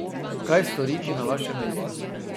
Kaj storiti na vašem mestu?